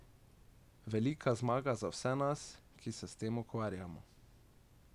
Velika zmaga za vse nas, ki se s tem ukvarjamo.